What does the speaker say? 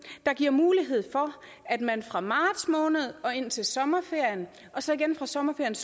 der giver mulighed for at man fra marts måned og indtil sommerferien og så igen fra sommerferiens